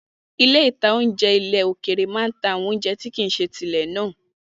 Ilé-ìtánjẹ ilẹ̀ òkèrè máa n ta àwọn oúnjẹ tí kìí ṣe ti ilẹ̀ náà